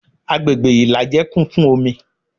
Agbègbè ìlàjẹ kún fún omi